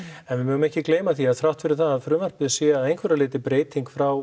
en við megum ekki gleyma því að þrátt fyrir það að frumvarpið sé að einhverju leyti breyting frá